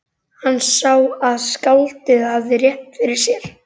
Hann sá að skáldið hafði rétt fyrir sér.